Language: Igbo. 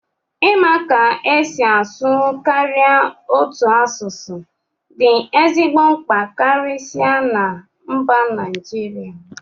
ịma ka esi asụ karịa otu asụsụ dị ezigbo mkpa karịsịa na mba Naijiria